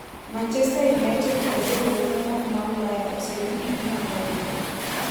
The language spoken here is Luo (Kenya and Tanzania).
Manchester United kod riwruoge moko ma Ulaya oseyudo ni ginyalo idho.